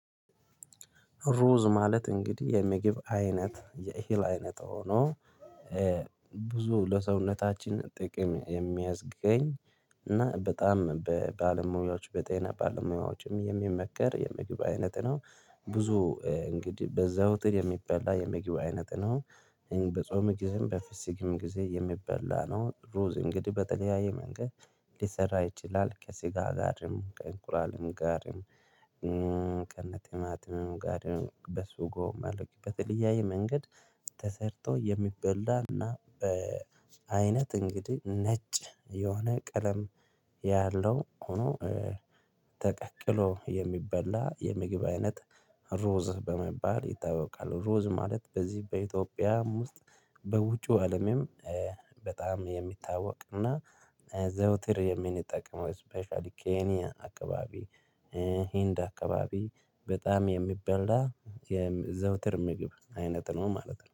ሩዝ ማለት እንግዲህ የሚግብ አይነት የእሂል አይነት ሆኖ ብዙ ለሰውነታችን ጥቅም የሚያዝገኝ። እና በጣም በባለሙያዎች በጤና ባለሙያዎችም የሚመከር የምግብ አይነት ነው። ብዞ እንግዲህ በዛው ትር የሚበላ የምግብ አይነት ነው። በጾም ጊዜም በፍስክም ግዜ የሚበላ ነው ሩዝ እንግዲህ በተለያየ መንገድ። ሊሰራ ይችላል ከስጋ ጋርም ከእንቁላልም ጋርም ከነትማትም ጋርም በሱጎ ማረግበት በተለያዬ መንገድ። ተሰርቶ የሚበላና በ አይነት እንግዲህ ነጭ የሆነ ቀለም ያለው ሁኖ ተቀቅሎ የሚበላ የምግብ አይነት ሩዝ በመባል ይታወቃል። ሩዝ ማለት በዚህ በኢትዮጵያም ውስጥ በውጩ አለምም። በጣም የሚታወቅ እና ዘውትር የሚንጠቅመው ስፔሻሊ ኬንያ አካባቢ ሂንድ አካባቢ በጣም የሚበላ የዘውትር ምግብ አይነት ነው ማለት ነው